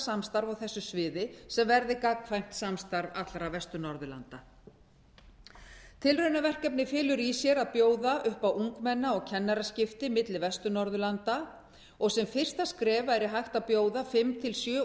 samstarf á þessu sviði sem verði gagnkvæmt samstarf allra vestur norðurlanda tilraunaverkefnið felur í sér að bjóða upp á ungmenna og kennaraskipti milli vestur norðurlanda og sem fyrsta skref væri hægt að bjóða fimm til sjö